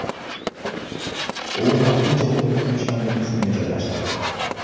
U vaqtincha o‘t o‘chiruvchilarning qismiga joylashtirildi.